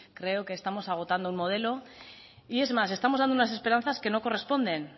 creo que estamos agotando un modelo y es más estamos dando unas esperanzas que no corresponden